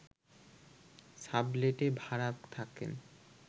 সাবলেটে ভাড়া থাকতেন